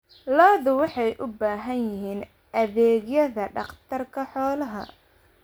Lo'du waxay u baahan yihiin adeegyada dhakhtarka xoolaha.